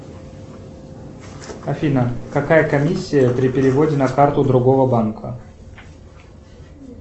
афина какая комиссия при переводе на карту другого банка